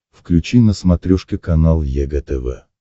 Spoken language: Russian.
включи на смотрешке канал егэ тв